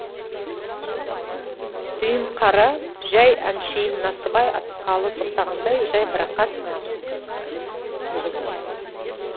дүйімқара жай әншейін насыбай атысқалы тоқтағандай жайбарақат нығыз